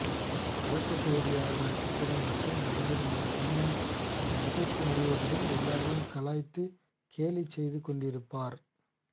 கலக்க போவது யாரு நட்சத்திரம் மற்றும் நடிகருமான தீனா இந்த நிகழ்ச்சி முழுவதிலும் எல்லோரையும் கலாய்த்து கேலி செய்துகொண்டிருப்பார்